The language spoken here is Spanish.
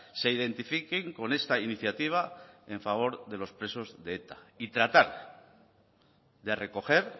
se identifiquen con esta iniciativa en favor de los presos de eta y tratar de recoger